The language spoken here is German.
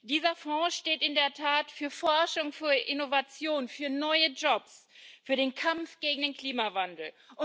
Dieser Fonds steht in der Tat für Forschung, für Innovation, für neue Jobs, für den Kampf gegen den Klimawandel.